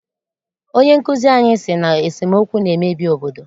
Onyenkụzi anyị sị na esemookwu na-emebi obodo